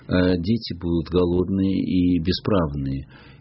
дети будут голодные и бесправные